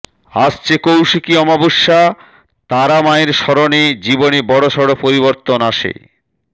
আসছে কৌশিকী অমাবস্যা তারা মায়ের শরণে জীবনে বড়সড় পরিবর্তন আসে